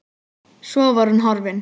Svo var hún horfin.